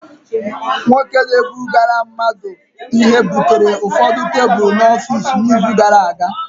Nwoke na-ebugara mmadu Ihe butere ụfọdụ tebụl n'ọfịs n'izu gara aga